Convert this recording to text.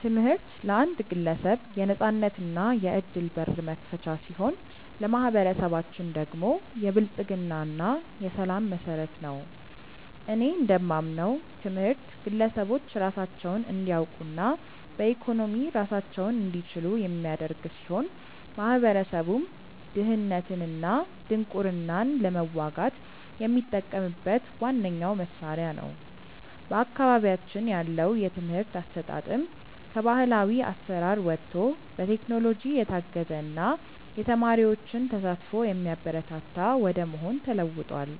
ትምህርት ለአንድ ግለሰብ የነፃነትና የዕድል በር መክፈቻ ሲሆን፣ ለማኅበረሰባችን ደግሞ የብልጽግና እና የሰላም መሠረት ነው። እኔ እንደማምነው ትምህርት ግለሰቦች ራሳቸውን እንዲያውቁና በኢኮኖሚ ራሳቸውን እንዲችሉ የሚያደርግ ሲሆን፣ ማኅበረሰቡም ድህነትንና ድንቁርናን ለመዋጋት የሚጠቀምበት ዋነኛው መሣሪያ ነው። በአካባቢያችን ያለው የትምህርት አሰጣጥም ከባሕላዊ አሠራር ወጥቶ በቴክኖሎጂ የታገዘና የተማሪዎችን ተሳትፎ የሚያበረታታ ወደ መሆን ተለውጧል።